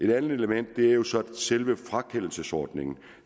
et andet element er jo så selve frakendelsesordningen